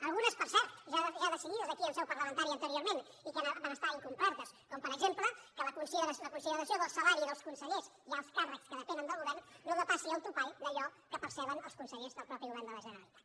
algunes per cert ja decidides aquí en seu parlamentària anteriorment i que van ser incomplertes com per exemple la consideració que el salari dels consellers i alts càrrecs que depenen del govern no depassi el topall d’allò que perceben els consellers del mateix govern de la generalitat